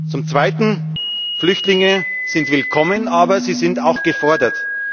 Zum Zweiten Flüchtlinge sind willkommen, aber sie sind auch gefordert.